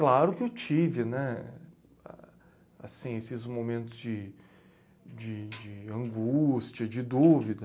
Claro que eu tive né... ah, assim esses momentos de de de angústia, de dúvida.